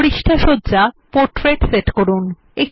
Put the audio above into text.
পৃষ্ঠা সজ্জা portrait set করুন